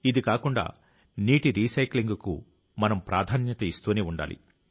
ఇది కాకుండా నీటి రీసైక్లింగ్ కు మనం సమాన ప్రాధాన్యతనిస్తూనే ఉండాలి